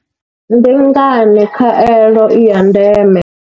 Ndi ngani khaelo i ya ndeme?